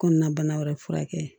Kɔnɔna bana wɛrɛ furakɛ